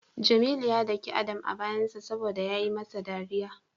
Jamilu ya dake Adam a bayansa saboda yayi masa dariya.